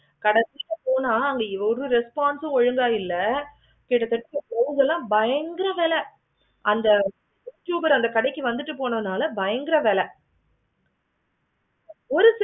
கடைசில போனா அங்க ஒரு response ஒழுங்கா இல்லை கிட்ட தட்ட ஒரு இதுலா பயங்கர வேலை அந்த consumer அந்த கடைக்கு வந்துட்டனால பயங்கர வேலை ஒரு